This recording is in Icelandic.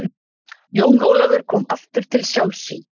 Jón Ólafur kom aftur til sjálfs sín.